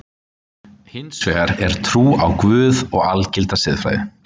Hins vegar er trú á Guð og algilda siðfræði.